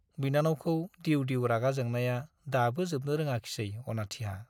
बिनानावखौ दिउ दिउ रागा जोंनाया दाबो जोबनो रोङाखिसै अनाथिहा।